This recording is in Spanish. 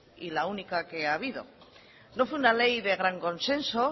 y la única que ha habido no fue una ley de gran consenso